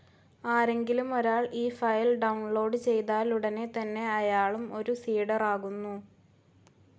ആരെങ്കിലും ഒരാൾ ഈ ഫയൽ ഡൌൺ ലോഡ്‌ ചെയ്താലുടനെ തന്നെ അയാളും ഒരു സീഡറാകുന്നു.